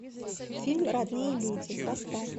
фильм родные люди поставь